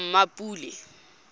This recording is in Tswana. mmapule